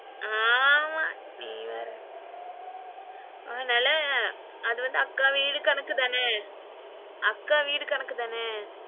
ஆமா நீ வேற அதுனால அதுவந்து அக்கா வீடு கணக்குதானா? அக்கா வீடு கணக்குதானா?